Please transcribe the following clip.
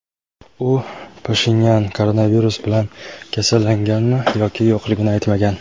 u Pashinyan koronavirus bilan kasallanganmi yoki yo‘qligini aytmagan.